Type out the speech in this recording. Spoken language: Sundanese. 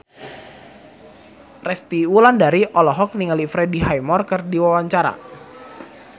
Resty Wulandari olohok ningali Freddie Highmore keur diwawancara